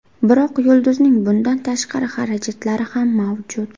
Biroq yulduzning bundan tashqari xarajatlari ham mavjud.